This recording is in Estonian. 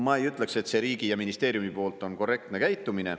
Ma ei ütleks, et see riigi ja ministeeriumi poolt on korrektne käitumine.